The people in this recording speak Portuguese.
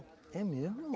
É mesmo?